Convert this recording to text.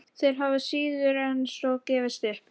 Þeir hafa síður en svo gefist upp.